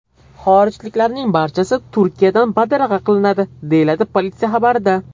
Xorijliklarning barchasi Turkiyadan badarg‘a qilinadi”, deyiladi politsiya xabarida.